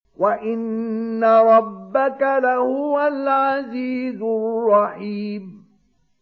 وَإِنَّ رَبَّكَ لَهُوَ الْعَزِيزُ الرَّحِيمُ